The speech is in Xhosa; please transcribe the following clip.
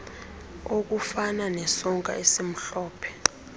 okufana nesonka esimhlophe